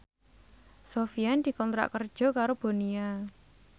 Sofyan dikontrak kerja karo Bonia